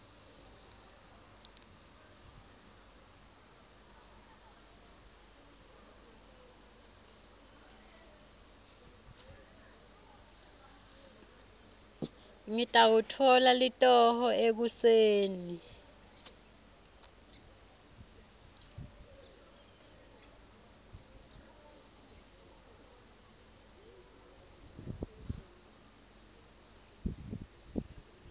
ngitawutfola litoho ekuseni